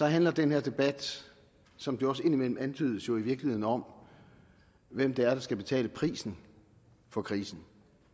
handler den her debat som det også indimellem antydes jo i virkeligheden om hvem der skal betale prisen for krisen